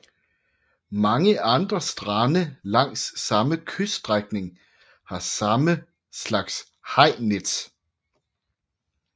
Mange andre strande langs samme kyststrækning har samme slags hajnet